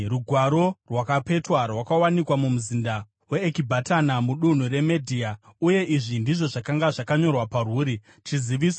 Rugwaro rwakapetwa rwakawanikwa mumuzinda weEkibhatana mudunhu reMedhia, uye izvi ndizvo zvakanga zvakanyorwa parwuri: Chiziviso: